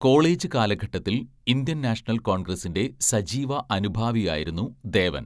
College കാലഘട്ടത്തിൽ Indian National കോൺഗ്രസിന്റെ സജീവ അനുഭാവിയായിരുന്നു ദേവൻ.